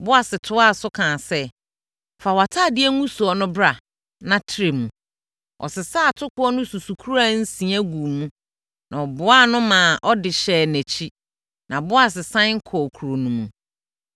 Boas toaa so kaa sɛ, “Fa wʼatadeɛ ngugusoɔ no bra na trɛ mu.” Ɔsesaa atokoɔ no susukora nsia guu mu na ɔboaa no maa ɔde hyɛɛ nʼakyi. Na Boas sane kɔɔ kuro no mu.